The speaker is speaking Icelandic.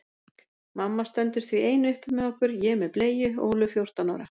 Mamma stendur því ein uppi með okkur, ég með bleyju, Ólöf fjórtán ára.